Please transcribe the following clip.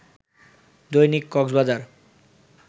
Dainik Cox's Bazar